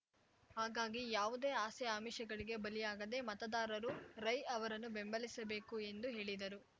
ಹಾಗಾಗಿ ಯಾವುದೇ ಆಸೆ ಆಮಿಷಗಳಿಗೆ ಬಲಿಯಾಗದೆ ಮತದಾರರು ರೈ ಅವರನ್ನು ಬೆಂಬಲಿಸಬೇಕು ಎಂದು ಹೇಳಿದರು